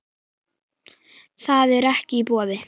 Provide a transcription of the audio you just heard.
Það er ekki í boði.